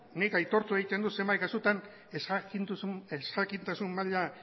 nik aitortu egiten dut zenbait kasutan ezjakintasun maila